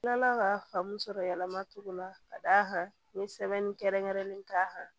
N kilala ka faamu sɔrɔ yɛlɛma togo la ka d'a kan n ye sɛbɛnni kɛrɛnkɛrɛnnen k'a kan